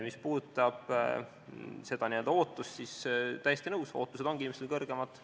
Mis puudutab seda ootust, siis olen täiesti nõus, et ootused ongi inimestel kõrgemad.